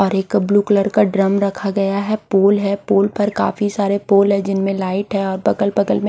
और एक का ब्लू कलर का ड्रम रखा गया है पूल है पूल पर् काफी सारे पोल हैं जिनमें लाइट है और बगल बगल में--